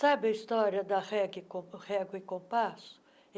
Sabe a história da régua régua e compasso?